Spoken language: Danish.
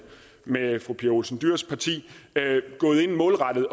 med fru pia olsen dyhrs parti målrettet